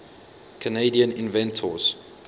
canadian inventors